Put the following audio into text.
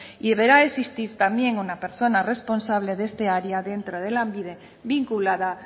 y deberá existir también una persona responsable de esta área dentro lanbide vinculada